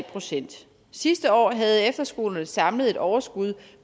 procent sidste år havde efterskolerne samlet et overskud